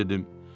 Mən dedim: